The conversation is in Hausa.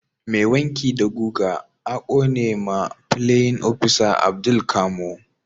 Mai wanki da guga a Kone ma playin opisa Abdul camo